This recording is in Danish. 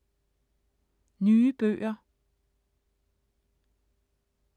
Nye bøger